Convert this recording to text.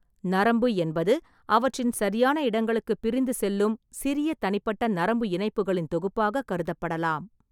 நரம்பு என்பது அவற்றின் சரியான இடங்களுக்குப் பிரிந்து செல்லும் சிறிய தனிப்பட்ட நரம்பு இணைப்புகளின் தொகுப்பாகக் கருதப்படலாம்.